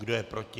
Kdo je proti?